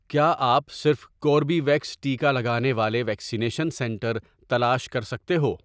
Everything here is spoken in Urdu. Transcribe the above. کیا آپ صرف کوربیویکس ٹیکا لگانے والے ویکسینیشن سنٹر تلاش کر سکتے ہو؟